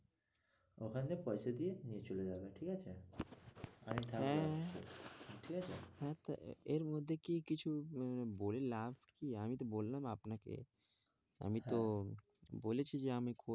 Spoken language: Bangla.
ওখানে পয়সা দিয়ে নিয়ে চলে যাবে ঠিক আছে, আমি তাহলে হ্যাঁ হ্যাঁ ঠিক আছে এর মধ্যে কি কিছু বলে লাভ কি? আমি তো বললাম আপনাকে আমি তো আমি তো বলেছি যে আমি করবো,